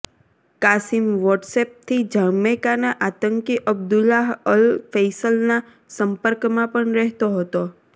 Qasem વોટ્સએપથી જમૈકાના આતંકી અબ્દુલ્લાહ અલ ફૈસલના સંપર્કમાં પણ રહેતો હતો